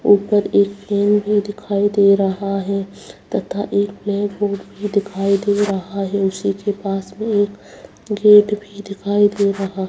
ऊपर एक फैन भी दिखाई दे रहा है तथा एक ब्लैक बोर्ड भी दिखाई दे रहा है उसी के पास में एक गेट भी दिखाई दे रहा।